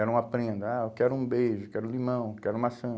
Era uma prenda, ah, eu quero um beijo, quero limão, quero maçã.